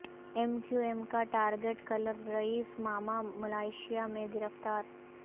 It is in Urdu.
ایم کیو ایم کا target killer Raees Mama Malaysia میں گرفتار